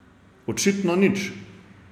Očitno nič.